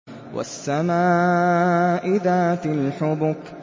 وَالسَّمَاءِ ذَاتِ الْحُبُكِ